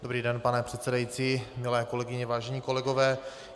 Dobrý den, pane předsedající, milé kolegyně, vážení kolegové.